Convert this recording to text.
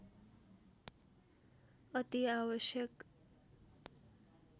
अति आवश्यक